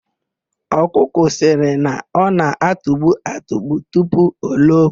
Ọkụkọ sịrị na ọ na-atugbu atugbu tupu o loo.